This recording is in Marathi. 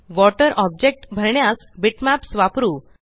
वॉटर ऑब्जेक्ट भरण्यास बिटमॅप्स वापरू